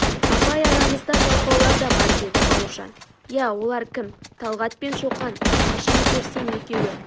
апай арамызда жалқаулар да бар деді бауыржан ия олар кім талғат пен шоқан қашан көрсең екеуі